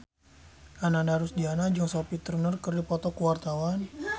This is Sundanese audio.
Ananda Rusdiana jeung Sophie Turner keur dipoto ku wartawan